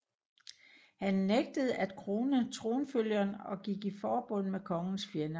Han nægtede at krone tronfølgeren og gik i forbund med kongens fjender